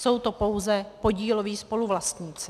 Jsou to pouze podíloví spoluvlastníci.